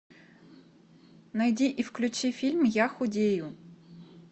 найди и включи фильм я худею